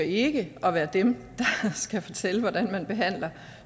ikke at være dem der skal fortælle hvordan man behandler